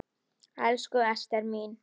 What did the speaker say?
Elsku Ester mín.